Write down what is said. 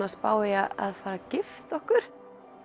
að spá í að gifta okkur